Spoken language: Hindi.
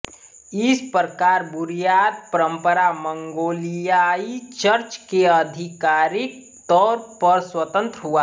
इस प्रकार बुर्यात परंपरा मंगोलियाई चर्च के आधिकारिक तौर पर स्वतंत्र हुआ